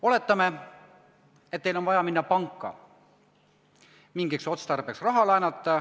Oletame, et teil on vaja minna panka ja mingiks otstarbeks raha laenata.